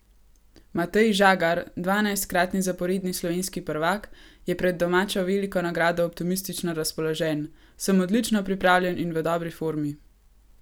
Matej Žagar, dvanajstkratni zaporedni slovenski prvak, je pred domačo veliko nagrado optimistično razpoložen: "Sem odlično pripravljen in v dobri formi.